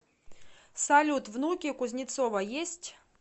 салют внуки у кузнецова есть